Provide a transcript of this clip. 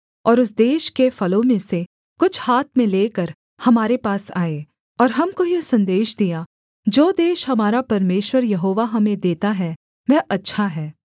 और उस देश के फलों में से कुछ हाथ में लेकर हमारे पास आए और हमको यह सन्देश दिया जो देश हमारा परमेश्वर यहोवा हमें देता है वह अच्छा है